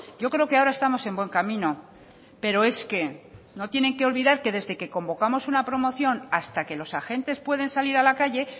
yo creo que ahora estamos en buen camino pero es que no tiene que olvidar que desde que convocamos una promoción hasta que los agentes pueden salir a la calle